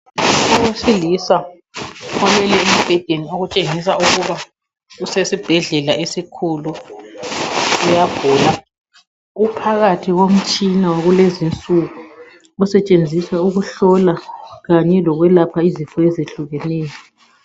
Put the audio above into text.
Owesilisa olele embhedeni okutshengisa ukuba usesibhedlela esikhulu uyagula .Uphakathi komtshina wakulezinsuku osetshenziswa ukuhlola kanye lokwelapha izifo ezehlukeneyo.